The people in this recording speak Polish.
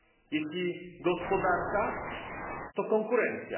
Jeśli gospodarka, to konkurencja.